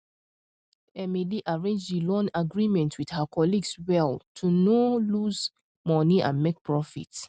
emily arrange the loan agreement with her colleagues well to no lose money and make profit